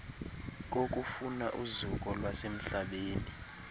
kokufuna uzuko lwasemhlabeni